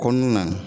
Kɔnɔna na